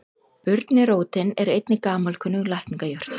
Burnirótin er einnig gamalkunnug lækningajurt.